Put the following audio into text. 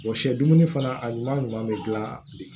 sɛ dumuni fana a ɲuman ɲuman bɛ gilan de